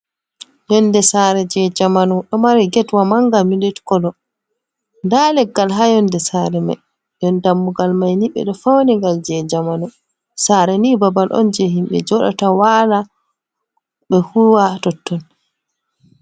Yonnde saare jey jamanu. Ɗo mari getwa mannga ''milk colour''. Ndaa leggal haa yonnde saare may. Nden dammugal may ni, ɓe ɗo pawni ngal jey jamanu. Saare ni babal on jey himɓe njoɗoto, waala, ɓe kuuwa totton.